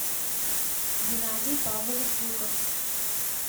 геннадий павлович жуков